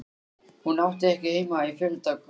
Hún átti ekki heima í fjöldagröf.